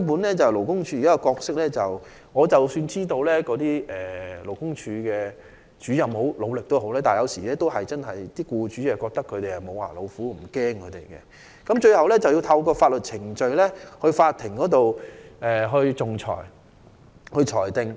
關於勞工處的角色，即使我知道勞工處的主任很努力工作，但僱主有時候認為他們是"無牙老虎"，不會感到害怕，最後需透過法律程序，在法庭上進行仲裁。